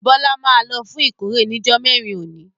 Bọlá máa lọ fún ìkórè ni jọ mẹ́rin òní.